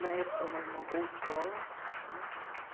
Na época, era uma uma boa escola né.